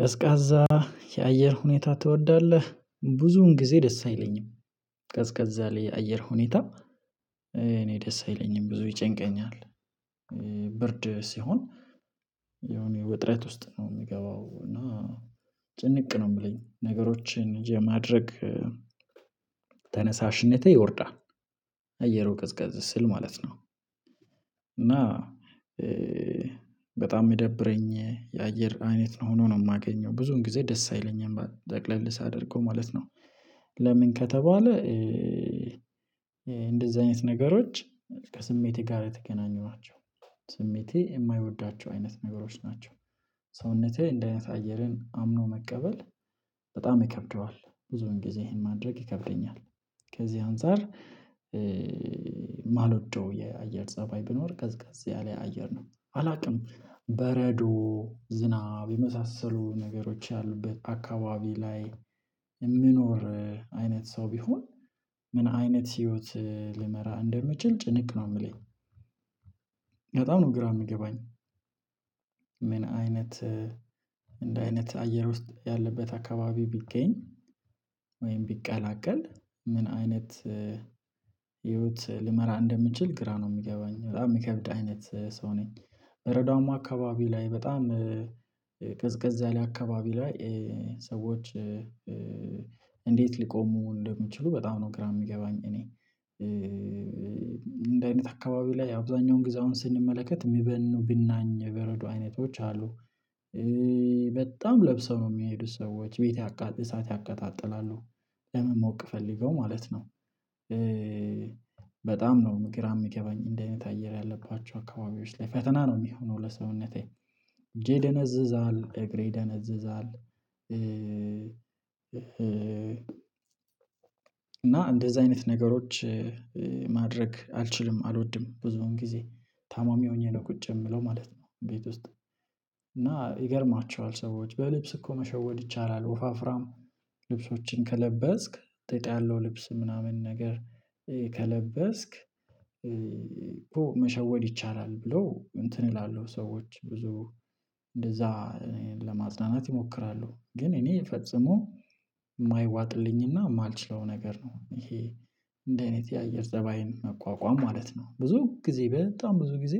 ቀዝቃዛ የአየር ሁኔታ ትወዳለህ? ብዙውን ጊዜ ደስ አይለኝም። ቀዝቃዛ ላይ የአየር ሁኔታ እኔ ደስ አይለኝም ብዙ ይጨንቀኛል። ብርድ ሲሆን የሆነ ውጥረት ውስጥ ነው የሚገባው እና ጭንቅ ነው የሚለኝ ነገሮችን የማድረግ ተነሳሽነቴ ይወርዳል አየሩ ቅዝቀዝ ስል ማለት ነው፤ እና በጣም የሚደብረኝ የአየር አይት ነው ሆኖ ነው የማገኘው ብዙን ጊዜ ደስ አይለኝም ጠቅለልስ ሳደርጎው ማለት ነው። ለምን ከተባለ እንደዚህ አይነት ነገሮች ከስሜቴ ጋር የተገናኙ ናቸው። ስሜቴ የማይወዷቸው አይነት ነገሮች ናቸው። ሰውነቴ እንደህ አይነት አየርን አምኖ መቀበል በጣም ይከብደዋል ብዙውን ጊዜ ይሄን ማድረግ ይከብደኛል። ከዚህ አንፃር ማልወደው የአየር ፀባይ ቢኖር ቀዝቃዛ ያለ አየር ነው። አላውቅም በረዶ ዝናብ የመሳሰሉ ነገሮች ያሉበት አካባቢ ላይ የምኖር አይነት ሰው ቢሆን ምን አይነት ህይወት ልመራ እንደምችል ጭንቅ ነው የምለኝ በጣም ነው፤ ግራ የምገባኝ የሚገባኝ፤ ምን አይነት እንደ አይነት አየር ውስጥ ያለበት አካባቢ ብገኝ ወይም ብቀላቀል ምን አይነት ህይወት ልመራ እንደምችል ግራ ነው የሚገባኝ በጣም የሚከብድ አይነት ሰው ነኝ በረዷማ አካባቢ ላይ በጣም ቅዝቀዛ ያለ አካባቢ ላይ ሰዎች እንዴት ሊቆሙ እንደሚችሉ በጣም ነው ግራ የሚገባኝ እኔ እንደዚህ አይነት አካባቢ ላይ አብዛኛውን ግዜ አሁን ስንመለከት የሚበኑ ቢናኝ በረዶ አይነቶች አሉ በጣም ለብሰው የሚሄዱ ሰዎች ቤት ያቃጥ እሳት ያቀጣጥላሉ ለመሞቅ ፈልገው ማለት ነው በጣም ነው ግራ የሚገባኝ እንደዚህ አይነት አየር ያለባቸው አካባቢዎች ላይ ፈተና ነው የሚሆነው ለሰውነቴ እጄ ይደነዝዛል፣ እግሬ ይደነዝዛል እና እንደዚህ አይነት ነገሮች ማድረግ አልችልም፣ አልወድም ብዙውን ጊዜ ታማሚ ሆኜ ነው ቁጭ የምለው ማለት ነው ቤት ውስጥ እና ይገርማቸዋል ሰዎች በልብስ እኮ መሸወድ ይቻላል ወፋፍራም ልብሶችን ከለበስክ ጥጥ ያለው ልብስ ምናምን ነገር ከለበስክ ይቻላል ብሎ እንትን ይላሉ ሰዎች ብዙ እንደዛ ለማጽናናት ይሞክራሉ ግን እኔ ፈጽሞ የማይዋጥልኝና የማልችለው ነገር ነው ይሄ እንደዚህ አይነት የአየር ፀባይን መቋቋም ማለት ነው። ብዙ ጊዜ በጣም ብዙ ጊዜ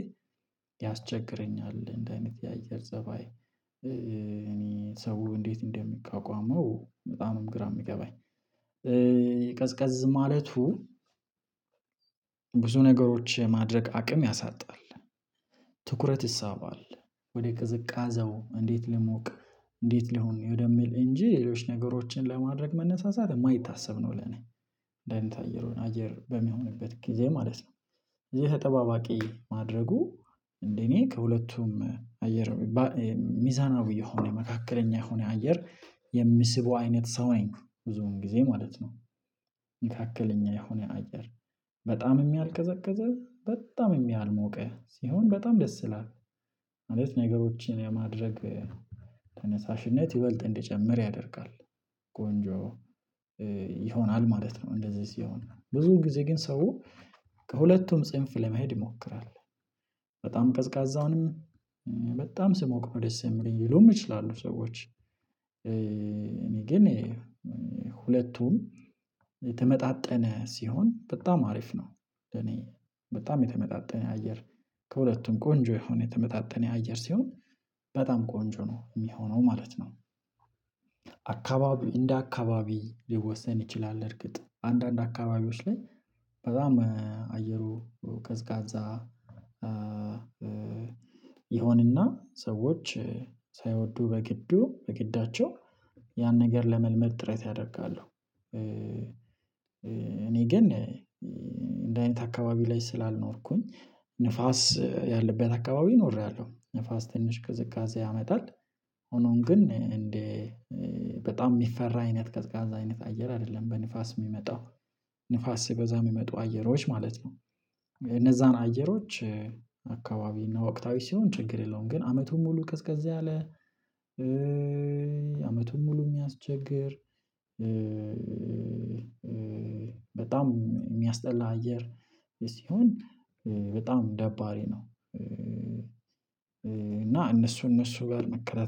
ያስቸግረኛል እንደዚህ አይነት የአየር ዘባይ እኔ ሰው እንዴት እንደሚቃወመው በጣምም ግራ የሚገባኝ። ቀዝቀዝ ማለቱ ብዙ ነገሮች ማድረግ አቅም ያሳጣል ትኩረት ይሳባል ወደ ቅዝቃዜው እንዴት ልሙቅ እንዴት ልሁን ወደሚል እንጂ ሌሎች ነገሮችን ለማድረግ መነሳሳት የማይታሰብ ነው ለኔ እንዲህ አይነት አየሩን አየር በሚሆንበት ጊዜ ማለት ነው። ይሄ ተጠባባቂ ማድረጉ እንደ እኔ ከሁለቱም አየር ሚባል ሚዛናዊ የሆነ መካከለኛ የሆነ አየር የሚስበው አይነት ሰው አይን ብዙውን ጊዜ ማለት ነው። መካከለኛ የሆነ አየር በጣምም ያልቀዘቀዘ በጣምም ያልሞቀ ሲሆን በጣም ደስ ይላል ማለት ነገሮችን የማድረግ ተነሳሽነት ይበልጥ እንደጨመረ ያደርጋል ቆንጆ ይሆናል ማለት ነው እንደዚህ ሲሆን ብዙ ጊዜ ግን ሰው ከሁለቱም ጽንፍ ለመሄድ ይሞክራል በጣም ቀዝቃዛውንም በጣም ሲሞቅ ነው ደስ የሚለኝም ሊሉ ይችላሉ ሰዎች እኔ ግን ሁለቱም የተመጣጠነ ሲሆን በጣም አሪፍ ነው ለእኔ በጣም የተመጣጠነ አየር ከሁለቱም ቆንጆ የሆነ የተመጣጠነ የአየር ሲሆን በጣም ቆንጆ ነው የሚሆነው ማለት ነው። አካባቢ እንደ አካባቢ ሊወሰን ይችላል እርግጥ አንዳንድ አካባቢዎች ላይ በጣም አየሩ ቀዝቃዛ ይሆንና ሰዎች ሳይወዱ በግዱ በግዳቸው ያን ነገር ለመልመድ ጥሬታ ያደርጋሉ። እኔ ግን እንዲህ አይነት አካባቢ ላይ ስላልኖርኩኝ ንፋስ ያለበት አካባቢ ኖሬያለሁ ንፋስ ትንሽ ቅዝቃዜ ያመጣል ሆኖም ግን እንደ በጣም የሚፈራ አይነት ቀዝቃዛ አይነት አየር አይደለም በንፋስ የሚመጣው ንፋስ ሲበዛ የሚመጡ አየሮች ማለት ነው እነዛን አየሮች አካባቢ እና ወቅታዊ ሲሆን ችግር የለዉም ግን አመቱን ሙሉ ቀዝቀዝ ያለ አመቱን ሙሉ የሚያስቸግር በጣም የሚያስጠላ አየር ሲሆን በጣም ደባሪ ነው እና እነሱ እነሱ ጋር መቀላቀል